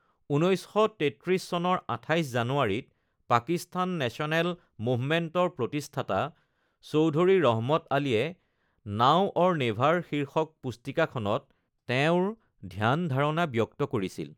১৯৩৩ চনৰ ২৮ জানুৱাৰীত পাকিস্তান নেশ্যনেল মুভমেণ্টৰ প্ৰতিষ্ঠাতা চৌধুৰী ৰহমত আলীয়ে 'নাও অৰ নেভাৰ' শীৰ্ষক পুস্তিকাখনত তেওঁৰ ধ্যান-ধাৰণা ব্যক্ত কৰিছিল।